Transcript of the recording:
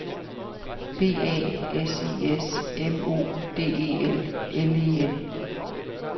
B A S I S M O D E L L E N